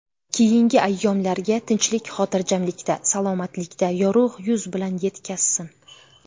Keyingi ayyomlarga tinchlik-xotirjamlikda, salomatlikda, yorug‘ yuz bilan yetkazsin.